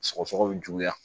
Sɔgɔsɔgɔ bi juguya